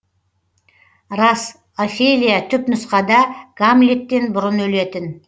рас офелия түпнұсқада гамлеттен бұрын өлетін